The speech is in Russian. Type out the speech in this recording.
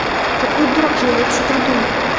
какой дурак её вообще придумал